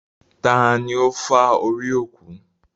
Tani ó fá orí òkú?